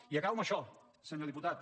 i acabo amb això senyor diputat